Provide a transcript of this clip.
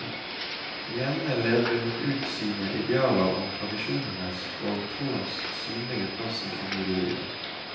Hjemme levde hun ut sine idealer om tradisjonenes og troens synlige plass i familielivet.